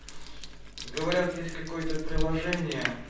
говорят есть какое-то приложение